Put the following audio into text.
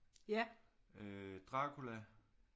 Øh Dracula